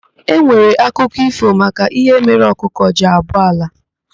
E nwere akụkọ ífò maka ihe mere ọkụkọ ji abọ ala.